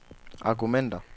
argumenter